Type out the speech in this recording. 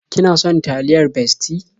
Ki na son taliyar Bestie?